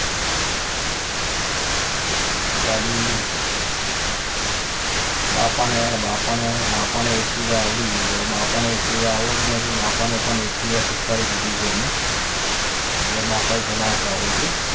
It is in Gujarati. ગાડી બાપાને બાપાને બાપાને એકટીવા આવડી ગયું છે બાપાને એકટીવા આવડતું ન હતું બાપાને પણ એકટીવા શીખવાડી દીધું છે મેં બાપા એ ચલાવતા હોય છે